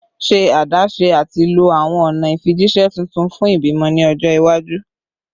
Ṣe adaṣe ati lo awọn ọna ifijiṣẹ tuntun fun ibimọ ni ọjọ iwaju